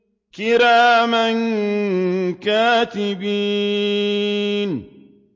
كِرَامًا كَاتِبِينَ